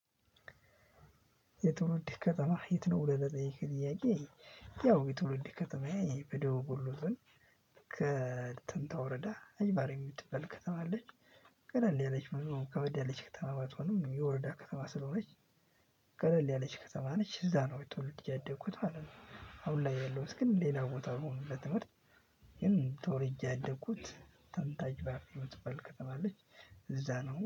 የትውልድ ከተማህ የት ነው? ብለህ ለጠየቅከኝ ጥያቄ ያው የትውልድ ከተማዬ በደቡብ ወሎ ዞን ከተንታ ወረዳ አይባሬ ምትባል ከተማ አለች። ቀለል ያለች ከበድ ያለች ባትሆንም የወረዳ ከተማ ስለሆነች። ቀለል ያለች ከተማ ነች እዛ ነው ተወልጄ ያደግኩት ማለት ነው። አሁን ላይ ያለሁት ግን ሌላ ቦታ ሆኖ ለትምህርት። ግን ተወልጄ ያደግኩት ተንታጅባፍ ምትባል ከተማ አለች። እዛ ነው